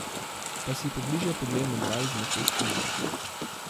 Pa si pobliže poglejmo dva izmed teh filmov.